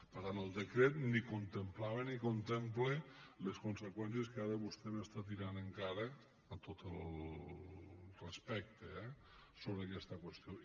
per tant el decret ni contemplava ni contempla les conseqüències que ara vostè m’està tirant en cara amb tot el respecte eh sobre aquesta qüestió